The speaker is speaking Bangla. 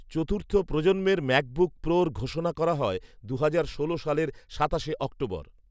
চতুর্থ প্রজন্মের ম্যাকবুক প্রোর ঘোষণা করা হয় দু'হাজার ষোলো সালের সাতাশে অক্টোবর।